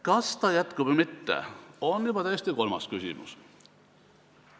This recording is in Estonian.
Kas ta jätkub või mitte, see on juba kolmas küsimus.